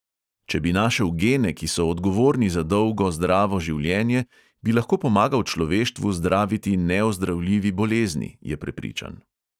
Če bi našel gene, ki so odgovorni za dolgo, zdravo življenje, bi lahko pomagal človeštvu zdraviti neozdravljivi bolezni, je prepričan.